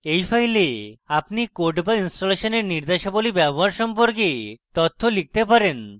in file আপনি code বা ইনস্টলেশনের নির্দেশাবলী ব্যবহার সম্পর্কে তথ্য লিখতে পারেন